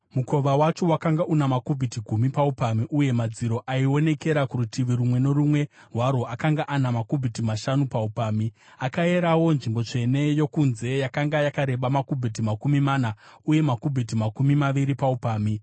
Mukova wacho wakanga una makubhiti gumi paupamhi, uye madziro aionekera kurutivi rumwe norumwe rwawo akanga ana makubhiti mashanu paupamhi. Akayerawo nzvimbo tsvene yokunze; yakanga yakareba makubhiti makumi mana uye makubhiti makumi maviri paupamhi.